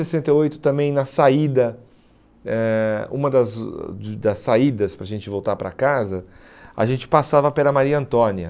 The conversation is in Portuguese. Em sessenta e oito, também na saída eh, uma das dos das saídas para a gente voltar para casa, a gente passava pela Maria Antônia.